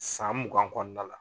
San mugan kɔnɔna la.